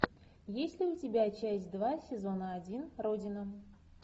есть ли у тебя часть два сезона один родина